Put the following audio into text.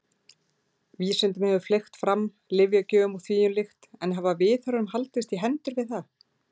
Vísindunum hefur fleygt fram, lyfjagjöfin og þvíumlíku en hafa viðhorfin haldist í hendur við það?